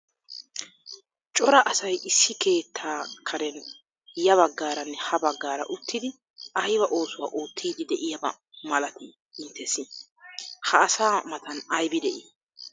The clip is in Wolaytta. Cora asay issi keettaa Karen ya baggaaranne ha baggaara uttidi ayba oosuwa oottiiddi de'iyaba malatii inttessi? Ha asaa matan aybi de'ii?